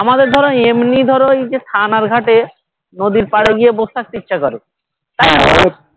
আমাদের ধরো এমনি ধরো এই যে থানার ঘাটে নদীর পারে গিয়ে বসে থাকতে ইচ্ছা করে